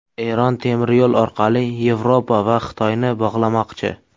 Eron temiryo‘l orqali Yevropa va Xitoyni bog‘lamoqchi.